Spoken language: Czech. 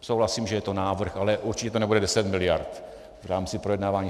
Souhlasím, že je to návrh, ale určitě to nebude 10 miliard v rámci projednávání.